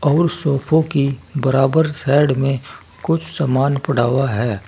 और सोफो की बराबर साइड में कुछ सामान पड़ा हुआ है।